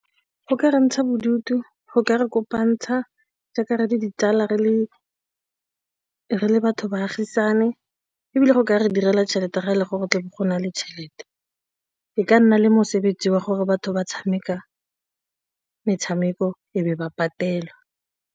Go ka re ntsha bodutu, go ka re kopantsha jaaka re le ditsala, re le batho, baagisane ebile go ka re direla tšhelete ga e le gore tle go na le tšhelete e ka nna le mosebetsi wa gore batho ba tshameka metshameko e be ba patelwa.